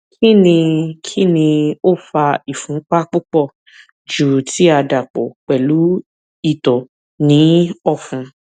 kini kini o fa ìfúnpá pupọ ju ti a dapọ pẹlu itọ ni ọfun